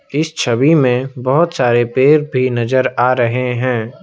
इस छवि में बहुत सारे पेड़ भी नजर आ रहे हैं।